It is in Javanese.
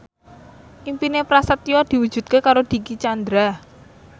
impine Prasetyo diwujudke karo Dicky Chandra